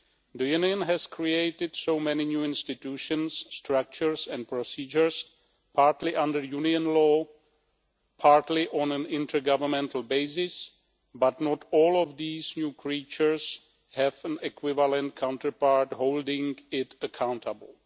The Union has created so many new institutions, structures and procedures partly under Union law, partly on an intergovernmental basis, but not all of these new creatures have an equivalent counterpart holding them accountable.